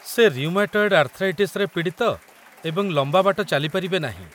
ସେ ରିଉମାଟଏଡ୍‌ ଆର୍ଥ୍ରାଇଟିସରେ ପୀଡ଼ିତ ଏବଂ ଲମ୍ବା ବାଟ ଚାଲିପାରିବେ ନାହିଁ।